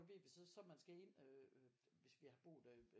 Hvis så man skal ind øh hvis vi har boet ved øh